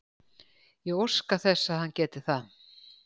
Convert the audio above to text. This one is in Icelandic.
Ég óska þess að hann geti það.